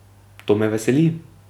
To me veseli.